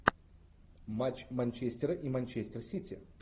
матч манчестера и манчестер сити